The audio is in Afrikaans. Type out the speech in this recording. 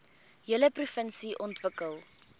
hele provinsie ontwikkel